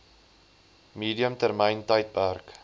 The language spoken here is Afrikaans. medium termyn tydperk